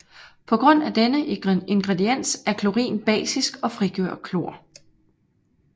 På grund af denne ingrediens er Klorin basisk og frigør klor